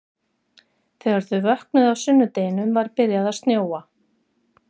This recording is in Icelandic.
Þegar þau vöknuðu á sunnudeginum var byrjað að snjóa.